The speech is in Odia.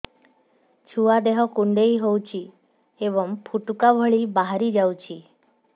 ଛୁଆ ଦେହ କୁଣ୍ଡେଇ ହଉଛି ଏବଂ ଫୁଟୁକା ଭଳି ବାହାରିଯାଉଛି